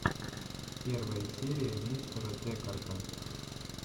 первая серия мистера декарта